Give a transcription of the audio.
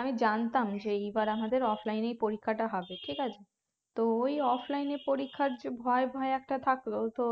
আমি জানতাম যে এইবার আমাদের offline এই পরীক্ষাটা হবে ঠিক আছে তো ওই offline তে পরীক্ষার ভয় ভয় একটা থাকলোও তো